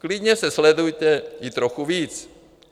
Klidně se sledujte i trochu víc.